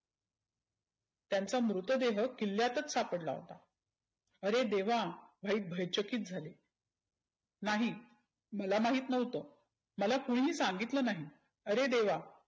त्यांचा मृतदेह किल्ल्यातच सापडला होता. आरे देवा व्हाईट भयचकित झाले. नाही मला महित नव्हतं. मला कुणी ही सांगितलं नाही. आरे देवा